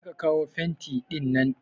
Je ka kawo fenti ɗinnan!